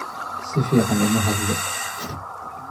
Si fiican uma hadlo